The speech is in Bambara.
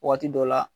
Waati dɔ la